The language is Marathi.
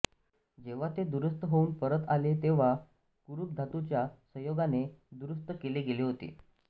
जेव्हा ते दुरुस्त होऊन परत आले तेव्हा कुरुप धातूच्या संयोगाने दुरुस्त केले गेले होते